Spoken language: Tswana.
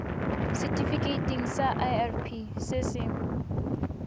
setifikeiting sa irp se se